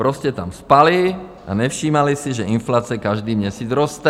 Prostě tam spali a nevšímali si, že inflace každý měsíc roste.